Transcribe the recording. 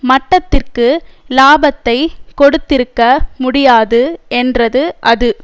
மட்டத்திற்கு இலாபத்தை கொடுத்திருக்க முடியாது என்றது அது